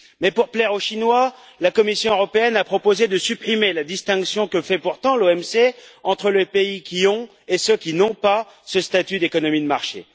Mais, pour plaire aux Chinois, la Commission européenne a proposé de supprimer la distinction, que fait pourtant l'OMC, entre les pays qui ont et ceux qui n'ont pas ce statut d'économie de marché.